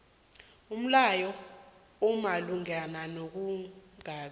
umlayo omalungana nokungabi